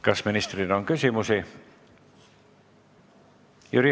Kas ministrile on küsimusi?